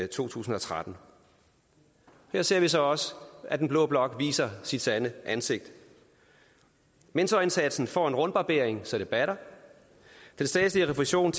to tusind og tretten her ser vi så også at den blå blok viser sit sande ansigt mentorindsatsen får en rundbarbering så det batter den statslige refusion